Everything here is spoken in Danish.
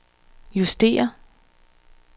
justér